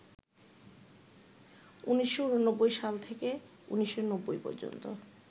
১৯৮৯ সাল থেকে ১৯৯০ পর্যন্ত